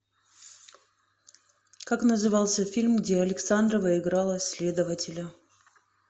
как назывался фильм где александрова играла следователя